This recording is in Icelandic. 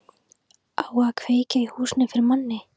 Á að kveikja í húsinu fyrir manni!